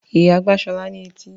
Ìyá gbá Ṣọlá ní etí.